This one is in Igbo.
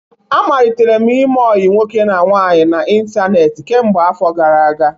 Amalitere m ime ọyi nwoke na nwaanyị n'ịntanetị kemgbe afọ gara aga.